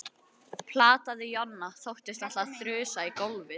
plataði Jonna. þóttist ætla að þrusa í gólfið.